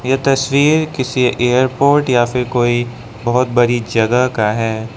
यह तस्वीर किसी एयरपोर्ट या फिर कोई बहोत बड़ी जगह का है।